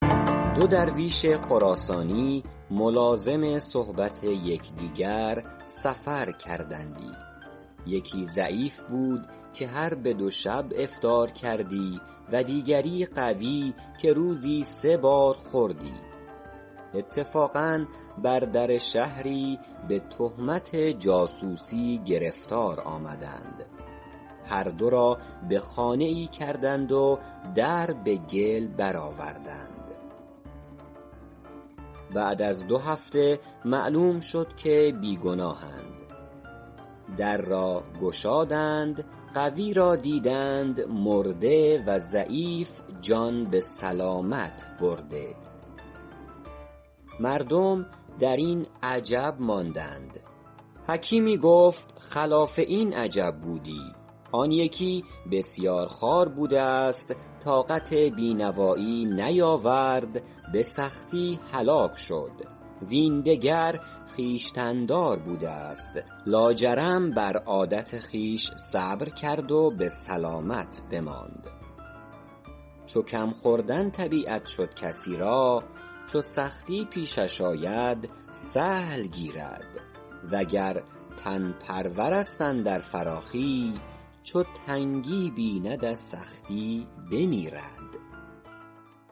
دو درویش خراسانی ملازم صحبت یکدیگر سفر کردندی یکی ضعیف بود که هر به دو شب افطار کردی و دیگر قوی که روزی سه بار خوردی اتفاقا بر در شهری به تهمت جاسوسی گرفتار آمدند هر دو را به خانه ای کردند و در به گل برآوردند بعد از دو هفته معلوم شد که بی ‎گناهند در را گشادند قوی را دیدند مرده و ضعیف جان به سلامت برده مردم در این عجب ماندند حکیمی گفت خلاف این عجب بودی آن یکی بسیارخوار بوده است طاقت بی ‎نوایی نیاورد به سختی هلاک شد وین دگر خویشتن ‎دار بوده است لاجرم بر عادت خویش صبر کرد و به سلامت بماند چو کم ‎خوردن طبیعت شد کسی را چو سختی پیشش آید سهل گیرد وگر تن ‎پرور است اندر فراخی چو تنگی بیند از سختی بمیرد